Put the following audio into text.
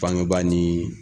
Bangebaa ni